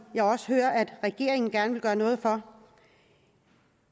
jeg også hører at regeringen gerne vil gøre noget for